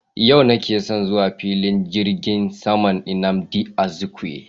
Yau nake son zuwa filin jirgin saman nnamdi Azikiwe